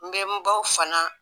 N bɛ n baw fana